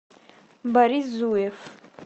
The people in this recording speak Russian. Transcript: борис зуев